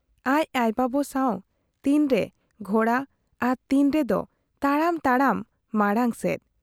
ᱟᱡ ᱟᱭᱳ ᱵᱟᱵᱟ ᱥᱟᱶ ᱛᱤᱱ ᱨᱮ ᱜᱷᱚᱬᱲᱟ ᱟᱨ ᱛᱤᱱ ᱨᱮᱫᱚ ᱛᱟᱲᱟᱢᱛᱟᱲᱟᱢ ᱢᱟᱬᱟᱝ ᱥᱮᱫ ᱾